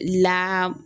La